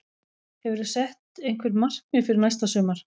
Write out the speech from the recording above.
Hefurðu sett einhver markmið fyrir næsta sumar?